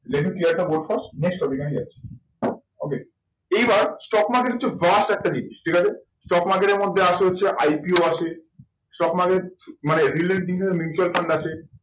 next topic এ আমি যাচ্ছি okay এইবার stock market হচ্ছে একটা জিনিস ঠিক আছে stock market এর মধ্যে আসে হচ্ছে IPO আসে stock market মানে mutual fund আছে